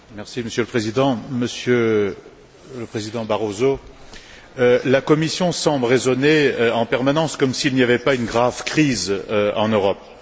Monsieur le Président, Monsieur le président Barroso, la Commission semble raisonner en permanence comme s'il n'y avait pas une grave crise en Europe.